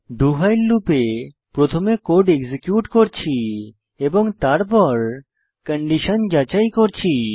do while লুপে প্রথমে code execute করছি এবং তারপর কন্ডিশন যাচাই করছি